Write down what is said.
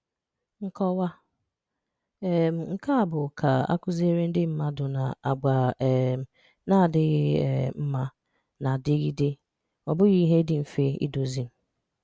Nkọwa: um nke a bụ ka akụziere ndị mmadụ na àgwà um na-adịghị um mma na-adịgịde, ọ bụghị ihe dị mfe idozi.